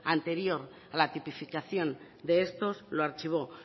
anterior a la tipificación de estos lo archivó